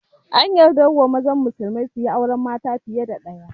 An yardar wa mazan musulmai suyi auren mata fiye da ɗaya